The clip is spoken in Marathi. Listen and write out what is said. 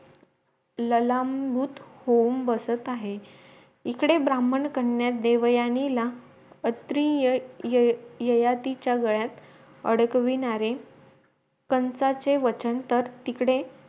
ललांभूत होउन बसत आहे इकडे ब्राम्हण कन्या देवयानीला अत्रीया य य यतीच्या गळ्यात अडकविणारे पंचांचे वचन तर इकडे